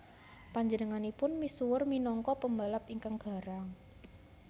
Panjenenganipun misuwur minangka pembalap ingkang garang